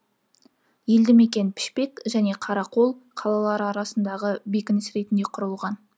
елді мекен пішпек және қарақол қалалары арасындағы бекініс ретінде құрылған